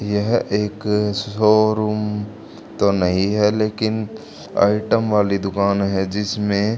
यह एक शोरूम तो नहीं है लेकिन आइटम वाली दुकान है जिसमें--